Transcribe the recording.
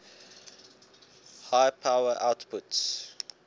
high power outputs